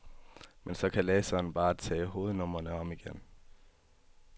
Men så kan læseren bare tage hovednumrene om igen.